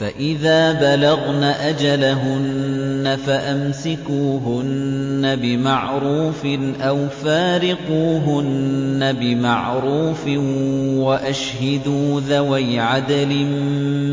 فَإِذَا بَلَغْنَ أَجَلَهُنَّ فَأَمْسِكُوهُنَّ بِمَعْرُوفٍ أَوْ فَارِقُوهُنَّ بِمَعْرُوفٍ وَأَشْهِدُوا ذَوَيْ عَدْلٍ